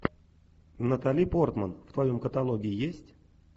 натали портман в твоем каталоге есть